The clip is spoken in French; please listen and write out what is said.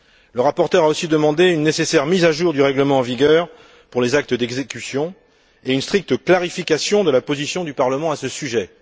Le rapporteur a aussi demandé une nécessaire mise à jour du règlement en vigueur pour les actes d'exécution et une stricte clarification de la position du Parlement à ce sujet.